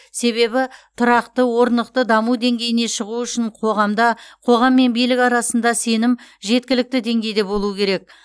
себебі тұрақты орнықты даму деңгейіне шығу үшін қоғамда қоғам мен билік арасында сенім жеткілікті деңгейді болу керек